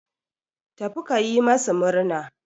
Tafi ka yi masu murna.